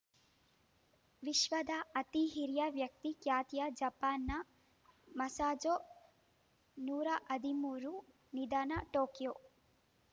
ವಿಶ್ವದ ಅತಿ ಹಿರಿಯ ವ್ಯಕ್ತಿ ಖ್ಯಾತಿಯ ಜಪಾನ್‌ನ ಮಸಾಝೋ ನೂರ ಹದಿಮೂರು ನಿಧನ ಟೋಕಿಯೋ